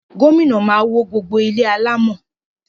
Gómìnà máa wó gbogbo àwọn ilé alámọ̀